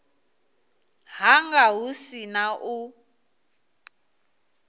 hanga hu si na u